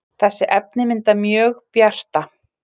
þessi efni mynda mjög bjarta